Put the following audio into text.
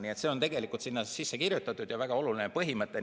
Nii et see on tegelikult sinna sisse kirjutatud ja väga oluline põhimõte.